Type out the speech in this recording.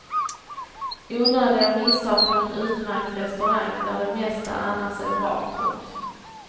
Onödiga missar på en utmärkt restaurang där det mesta annars är bra. punkt